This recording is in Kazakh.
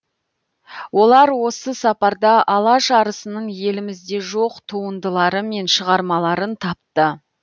олар осы сапарда алаш арысының елімізде жоқ туындылары мен шығармаларын тапты